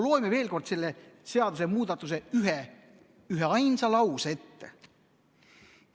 Loeme veel kord selle seadusemuudatuse üheainsa lause ette: "...